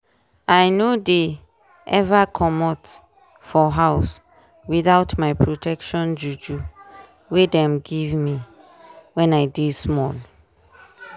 i no dey ever commot for house without my protection juju we dem give me wen i dey small.